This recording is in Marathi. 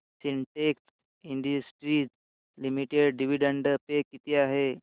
Sintex industries limited dividend pay किती आहे